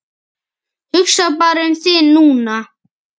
Hugsaðu bara um þig núna.